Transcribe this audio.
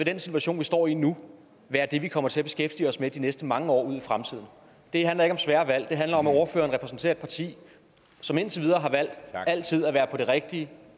den situation vi står i nu være det vi kommer til at beskæftige os med de næste mange år ud i fremtiden det handler ikke om svære valg det handler om at ordføreren repræsenterer et parti som indtil videre har valgt altid at være på den rigtige